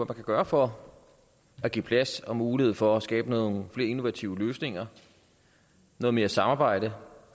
kan gøre for at give plads og mulighed for at skabe nogle flere innovative løsninger noget mere samarbejde